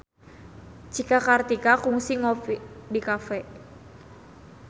Cika Kartika kungsi ngopi di cafe